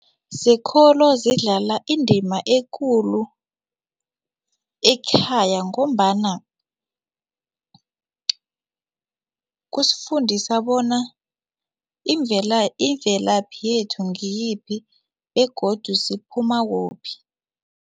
Zekolo zidlala indima ekulu ekhaya ngombana kusifundisa bona imvelaphi yethu ngiyiphi begodu siphuma kuphi.